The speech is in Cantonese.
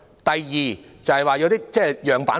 第二，就是提交一些樣辦貨。